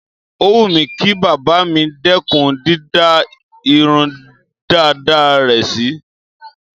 Ó wù mí kí bàbá mi dẹ́kùn dídá irun dàda rẹ̀ sí.